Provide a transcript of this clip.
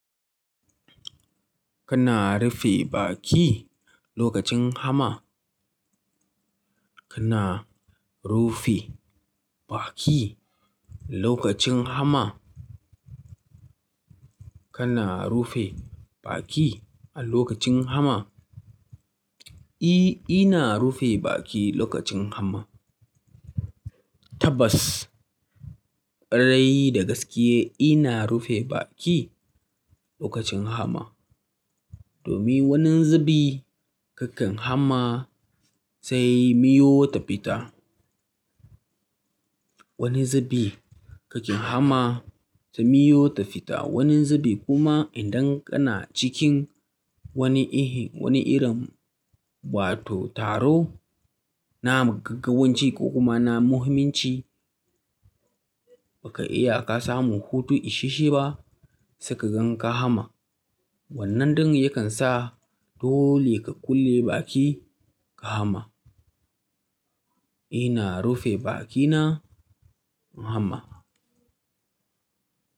Kana rufe baki lokacin hama? Kana rufe baƙi lokacin hama? Kana rufe baƙi a lokacin hama? I, ina rufe baki lokacin hama. Tabbas, ƙwarai da gaske ina rufe baƙi lokacin hama. Domin wani zubi kakan hamma sai miyo ta fita. Wani zubi kakan hamma sai miyo ta fita. Wani zubi kuma idan kana cikin wani ihi, wani irin wato taro na magagganci ko kuma na muhimmanci, ba ka iya ka samu hutu isashe ba, sai ka gan ka hama. Wannan dan ya kan sa dole ka kulle baƙi ka hama. Ina rufe baƙi na hama.